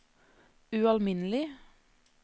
ualminnelig